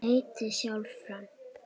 Heiti, sjá firma